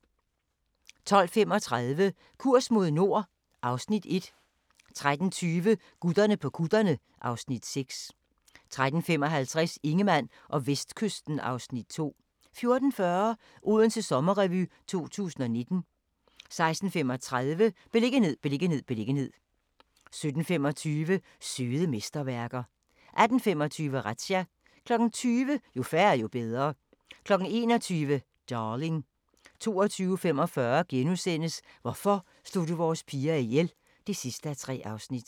12:35: Kurs mod nord (Afs. 1) 13:20: Gutterne på kutterne (Afs. 6) 13:55: Ingemann og Vestkysten (Afs. 2) 14:40: Odense Sommerrevy 2019 16:35: Beliggenhed, beliggenhed, beliggenhed 17:25: Søde mesterværker 18:25: Razzia 20:00: Jo færre, jo bedre 21:00: Darling 22:45: Hvorfor slog du vores piger ihjel? (3:3)*